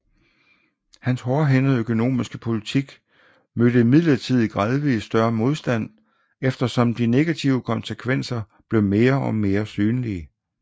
Hans hårdhændet økonomiske politik mødte imidlertid gradvis større modstand eftersom de negative konsekvenser blev mere og mere synlige